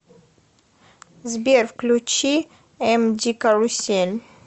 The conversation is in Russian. сбер включи эмди карусель